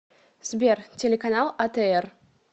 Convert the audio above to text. сбер телеканал а тэ эр